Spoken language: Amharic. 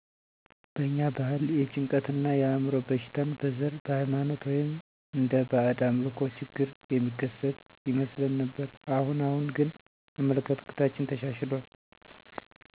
በእኛ ባህል የጭንቀት እና የአዕምሮ በሽታን በዘር ,በሃይማኖት ወይም እንደ ባእድ አምልኮ ችግር የሚከሰት ይመስለን ነበር። አሁን አሁን ግን አመለካከታችን ተሻሽሎል